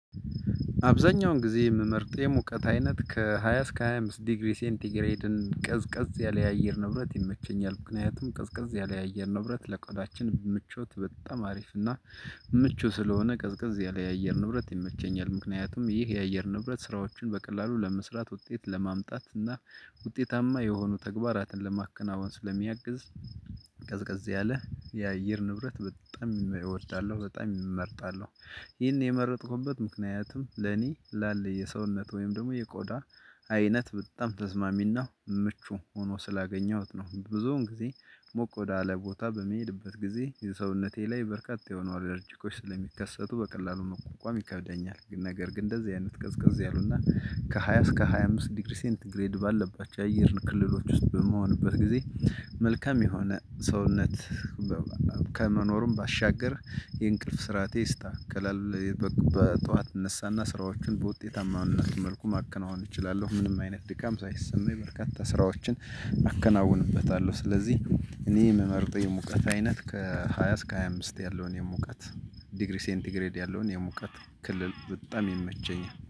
አብዛኛውን ጊዜ የምመርጥ የሙቀት አይነት ከሃያ እስከ ሃያ አምስት ዲግሪ ሴንቲግሬድን ቀዝቀዝ ያለ የአየር ንብረት ይመቸኛል ምክንያቱም ቀዝቀዝ ያለ የአየር ንብረት ለቆዳችን ምቾት በጣም አሪፍና ምቹ ስለሆነ ቀዝቀዝ ያለ የአየር ንብረት ይመቸኛል ምክንያቱም ይህ የአየር ንብረት ስራዎችን በቀላሉ ለመስራት ውጤት ለማምጣት እና ውጤታማ የሆኑ ተግባራትን ለማከናወን ስለሚያግዝ ቀዝቀዝ ያለ የአየር ንብረት በጣም እወዳለሁ በጣም እመርጣለሁ። ይህን የመረጥኩበት ምክንያትም ለኔ ላለ የሰውነት ወይም ደግሞ የቆዳ አይነት በጣም ተስማሚና ምቹ ሆኖ ስላገኘሁት ነው። ብዙውን ጊዜ ሞቅ ወዳለ ቦታ በምሄድበት ጊዜ የሰውነቴ ላይ በርካታ የሆኑ አለርጂኮች ስለሚከሰቱ በቀላሉ መቋቋም ይከብደኛል። ነገር ግን እንደዚህ አይነት ቀዝቀዝ ያሉና ከሃያ እስከ ሃያ አምስት ዲግሪ ሴንት ግሬድ ባለባቸው የአየር ክልሎች ውስጥ በምሆንበት ጊዜ መልካም የሆነ ሰውነት። ከመኖሩም ባሻገር የእንቅልፍ ስርዓቴ ይስተካከላል። በጠዋት እነሳና ስራዎቹን በውጤታማና መልኩ ማከናወን እችላለሁ ምንም አይነት ድካም ሳይሰማኝ በርካታ ስራዎችን አከናውንበታለሁ። ስለዚህ እኔ የምመርጠው የሙቀት አይነት ከሃያ እስከ ሃያ አምስት ያለውን የሙቀት ዲግሪ ሴንቲግሬድ ያለውን የሙቀት ክልል በጣም ይመቸኛል